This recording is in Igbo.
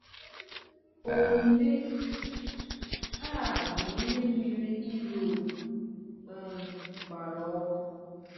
Omume a bụ ihe mere Europe um gbara ọkụ.